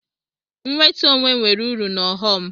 Nwetu onwe nwere uru na ọghọm.